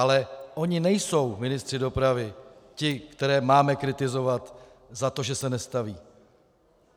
Ale oni nejsou ministři dopravy ti, které máme kritizovat za to, že se nestaví.